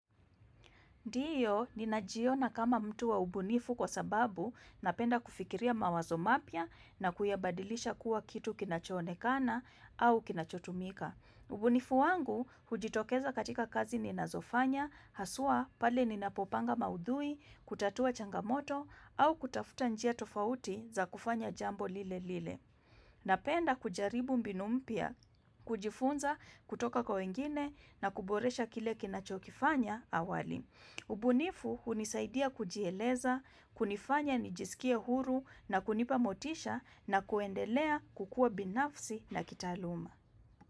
Ndiyo ninajiona kama mtu wa ubunifu kwa sababu napenda kufikiria mawazo mapya na kuyabadilisha kuwa kitu kinachoonekana au kinachotumika. Ubunifu wangu hujitokeza katika kazi ninazofanya, haswa pale ninapopanga maudhui, kutatua changamoto, au kutafuta njia tofauti za kufanya jambo lile lile. Napenda kujaribu mbinu mpya, kujifunza, kutoka kwa wengine na kuboresha kile kinachokifanya awali. Ubunifu hunisaidia kujieleza, kunifanya nijisikie huru na kunipa motisha na kuendelea kukua binafsi na kitaaluma.